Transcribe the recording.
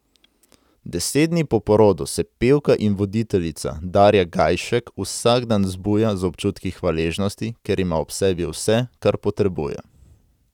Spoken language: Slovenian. Deset dni po porodu se pevka in voditeljica Darja Gajšek vsak dan zbuja z občutki hvaležnosti, ker ima ob sebi vse, kar potrebuje.